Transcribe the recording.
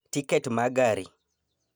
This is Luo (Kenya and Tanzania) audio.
Tiket ma gari